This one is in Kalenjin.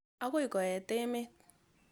Akoi koet emet.